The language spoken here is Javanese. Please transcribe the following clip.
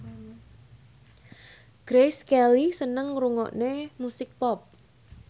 Grace Kelly seneng ngrungokne musik pop